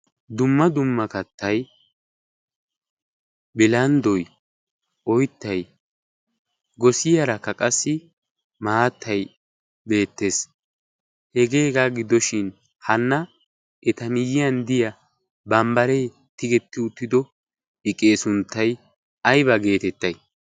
Dumma dumma kattay bilanddoy oyttay gosiyaarakka qassi maattay beettees. Hegaa giddoshin hana eta miyyiyan de'iya bambbaree tigetti uttido iqee sunttay ayba geetettay?